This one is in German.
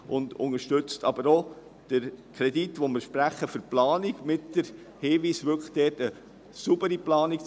Sie unterstützt auch den Kredit, den wir für die Planung sprechen, mit dem Hinweis, es sei eine saubere Planung vorzunehmen.